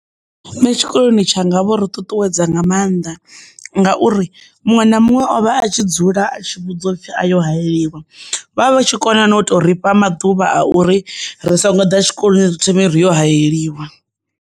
Nṋe tshikoloni tshanga vho ri ṱuṱuwedza nga mannḓa ngauri muṅwe na muṅwe ovha a tshi dzula a tshi vhudzwa upfhi a yo hayeliwa vha vha vha tshi kona na u to ri fha maḓuvha a uri ri songo ḓa tshikoloni ri thome ri yo hayeliwa.